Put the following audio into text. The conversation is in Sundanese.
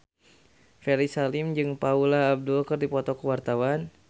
Ferry Salim jeung Paula Abdul keur dipoto ku wartawan